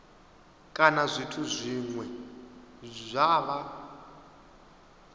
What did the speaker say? kana zwithu zwine zwa vha